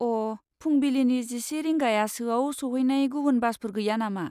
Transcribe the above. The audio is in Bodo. अ, फुंबिलिनि जिसे रिंगायासोआव सौहैनाय गुबुन बासफोर गैया नामा?